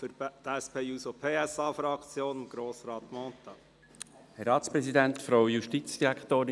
Für die SP-JUSO-PSA-Fraktion hat Grossrat Mentha das Wort.